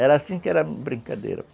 Era assim que era a brincadeira.